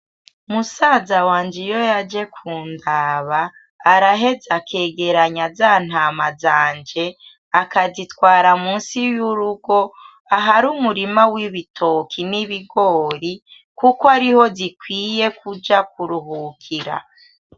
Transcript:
Musaza wanje iyo yaje kundaba araheza akegeranya za ntama zanje, akazitwara munsi y'urugo ahari umurima w'ibitoke n'ibigori kuko ariho zikwiye kuja kuruhukira.